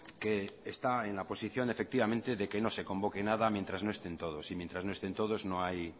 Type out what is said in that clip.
que está en la posición efectivamente de que no se convoque nada mientras no estén todos y mientras no estén todos no hay